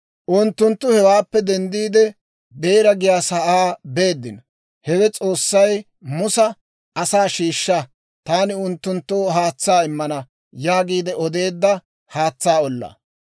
Unttunttu hewaappe denddiide, Beera giyaasaa beeddino; hewe S'oossay Musa, «Asaa shiishsha; taani unttunttoo haatsaa immana» yaagiide odeedda haatsaa ollaa.